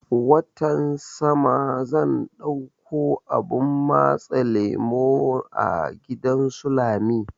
Watan sama zan ɗauko abun matse lemo a gidan su lami